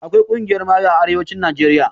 Akwai ƙungiyar mayu a arewacin najeriya